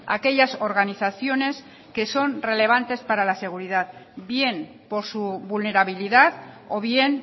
aquellas organizaciones que son relevantes para la seguridad bien por su vulnerabilidad o bien